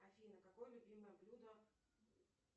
афина какое любимое блюдо